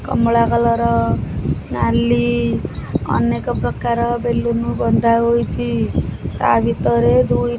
କମଳା colour ନାଲି ଅନେକ ପ୍ରକାର ବେଲୁନ୍ ବନ୍ଧାହୋଇଛି ତା ଭିତରେ ଦୁଇ --